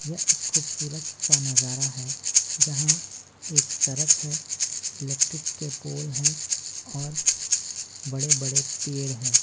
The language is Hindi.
यह एक खूबसूरत सा नजारा है जहां एक सड़क है इलेक्ट्रिक के पोल है और बड़े बड़े पेड़ हैं।